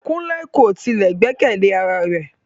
Kunle ko tile gbẹkẹle ara rẹ